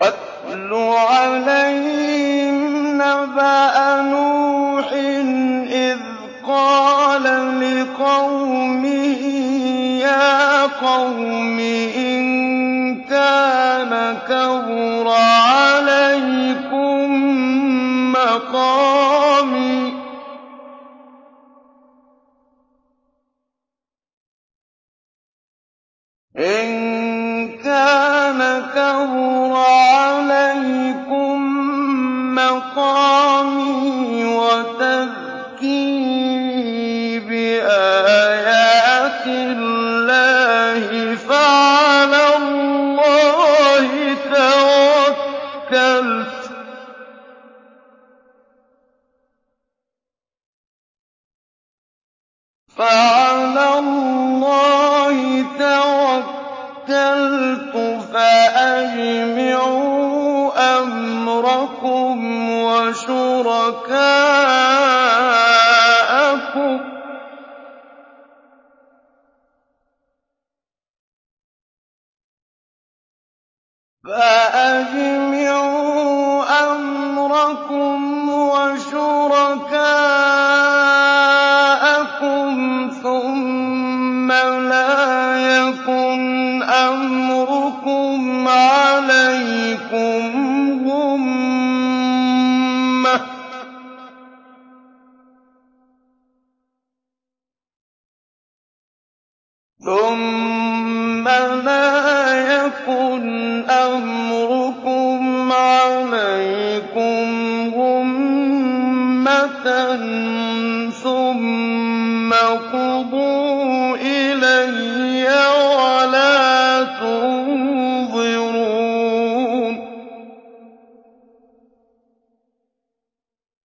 ۞ وَاتْلُ عَلَيْهِمْ نَبَأَ نُوحٍ إِذْ قَالَ لِقَوْمِهِ يَا قَوْمِ إِن كَانَ كَبُرَ عَلَيْكُم مَّقَامِي وَتَذْكِيرِي بِآيَاتِ اللَّهِ فَعَلَى اللَّهِ تَوَكَّلْتُ فَأَجْمِعُوا أَمْرَكُمْ وَشُرَكَاءَكُمْ ثُمَّ لَا يَكُنْ أَمْرُكُمْ عَلَيْكُمْ غُمَّةً ثُمَّ اقْضُوا إِلَيَّ وَلَا تُنظِرُونِ